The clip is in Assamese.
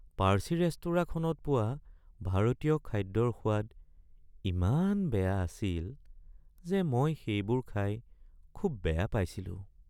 পাৰ্চী ৰেস্তোৰাঁখনত পোৱা ভাৰতীয় খাদ্যৰ সোৱাদ ইমান বেয়া আছিল যে মই সেইবোৰ খাই খুব বেয়া পাইছিলোঁ।